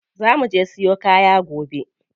Za muje siyo kaya gobe.